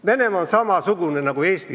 Venemaa on samasugune nagu Eesti.